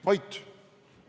Vait!